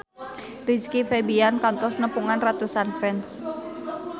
Rizky Febian kantos nepungan ratusan fans